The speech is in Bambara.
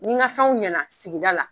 Ni ka fɛnw ɲɛna sigida la